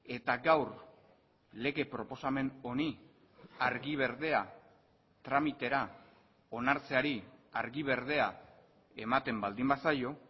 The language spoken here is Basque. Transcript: eta gaur lege proposamen honi argi berdea tramitera onartzeari argi berdea ematen baldin bazaio